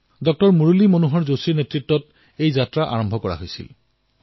ডাঃ মুৰলী মনোহৰ যোশীৰ নেতৃত্বত এই যাত্ৰা আৰম্ভ হৈছিল